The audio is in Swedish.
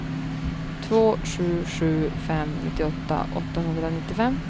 två sju sju fem nittioåtta åttahundranittiofem